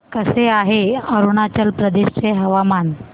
कसे आहे अरुणाचल प्रदेश चे हवामान